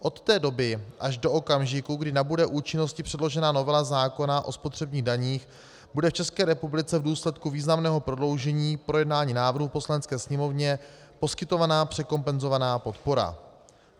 Od té doby až do okamžiku, kdy nabude účinnosti předložená novela zákona o spotřebních daních, bude v České republice v důsledku významného prodloužení projednání návrhu v Poslanecké sněmovně poskytována překompenzovaná podpora.